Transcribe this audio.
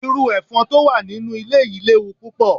Iru efon to wa ninu ile yii lewu pupo